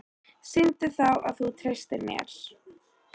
Sýndu þá að þú treystir mér!